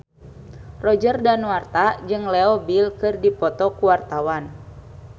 Roger Danuarta jeung Leo Bill keur dipoto ku wartawan